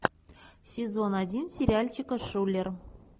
сезон один сериальчика шулер